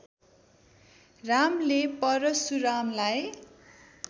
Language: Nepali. रामले परशुरामलाई